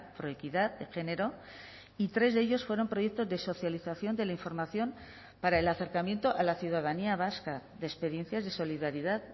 proequidad de género y tres de ellos fueron proyectos de socialización de la información para el acercamiento a la ciudadanía vasca de experiencias de solidaridad